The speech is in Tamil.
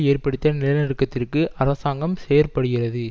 ஏற்படுத்திய நிலநடுக்கத்திற்கு அரசாங்கம் செயற்படுகிறது